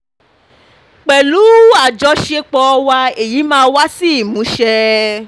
pẹ̀lú um àjọṣepọ̀ wa èyí mà wá sí ìmúṣẹ